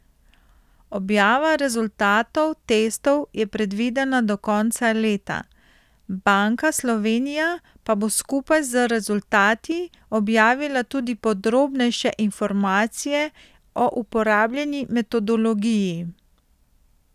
Objava rezultatov testov je predvidena do konca leta, Banka Slovenija pa bo skupaj z rezultati objavila tudi podrobnejše informacije o uporabljeni metodologiji.